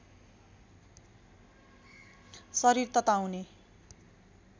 शरीर तताउने